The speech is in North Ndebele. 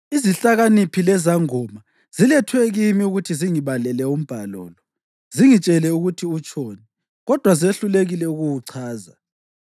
Izihlakaniphi lezangoma zilethwe kimi ukuthi zingibalele umbhalo lo, zingitshele ukuthi utshoni, kodwa zehlulekile ukuwuchaza.